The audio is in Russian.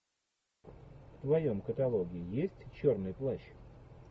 в твоем каталоге есть черный плащ